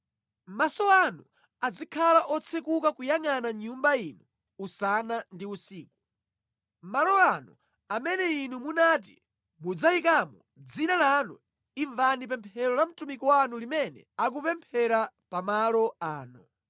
Maso anu azikhala otsekuka kuyangʼana Nyumba ino usana ndi usiku, malo ano amene Inu munati mudzayikamo Dzina lanu, imvani pemphero la mtumiki wanu limene akupemphera pa malo ano.